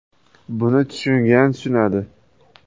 Buni tushungan tushunadi.